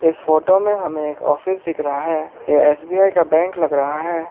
इस फोटो में हमें एक ऑफिस दिख रहा है ये एस_बी_आई का बैंक लग रहा है।